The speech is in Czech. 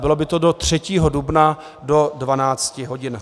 Bylo by to do 3. dubna do 12.00 hodin.